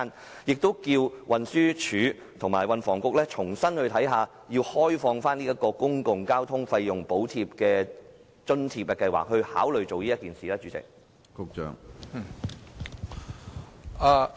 此外，亦希望運輸署和運房局重新審視，開放公共交通費用補貼計劃的支付平台，請他們考慮這樣做。